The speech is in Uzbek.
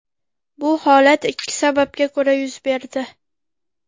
Bu holat ikki sababga ko‘ra yuz berdi.